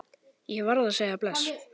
Ég varð að segja bless.